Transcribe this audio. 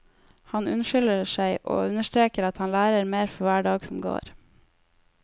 Han unnskylder seg og understreker at han lærer mer for hver dag som går.